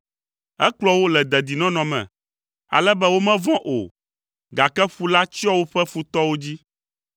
Ekplɔ wo le dedinɔnɔ me, ale be womevɔ̃ o, gake ƒu la tsyɔ woƒe futɔwo dzi.